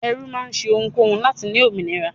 Ẹrú máa ṣe ohunkóhun láti ní òmìnira.